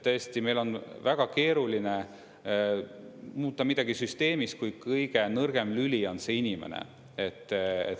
Tõesti, meil on väga keeruline muuta midagi süsteemis, kui kõige nõrgem lüli on see inimene.